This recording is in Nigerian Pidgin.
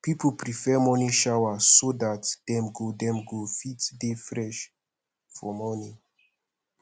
pipo prefer morning shower so dat dem go dem go fit dey fresh for morning